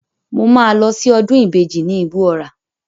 Mo máa lọ sí ọdún ìbejì ní Igbó Ọrà.